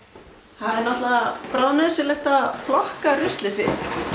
það er náttúrulega bráðnauðsynlegt að flokka ruslið sitt